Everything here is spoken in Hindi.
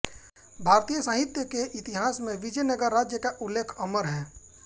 भारतीय साहित्य के इतिहास में विजयनगर राज्य का उल्लेख अमर है